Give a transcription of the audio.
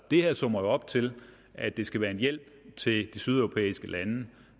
her summer jo op til at det skal være en hjælp til de sydeuropæiske lande